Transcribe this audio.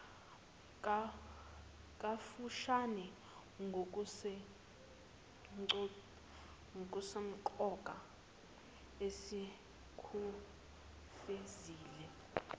kafushane ngokusemqoka esikufezile